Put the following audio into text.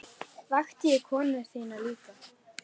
Vakti ég konu þína líka?